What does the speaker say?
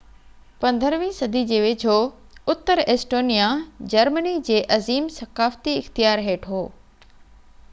15 صدي جي ويجهو اتر ايسٽونيا جرمني جي عظيم ثقافتي اختيار هيٺ هو